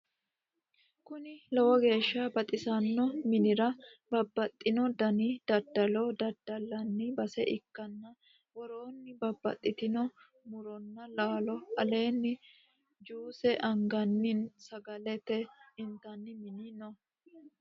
Konni lowo geeshsa baxissanno minira babaxino dani daddalo daddalanni base ikkanna woroonni babaxitinno muronna laalo aleenni juuse anganni nna sagale intanni mini no.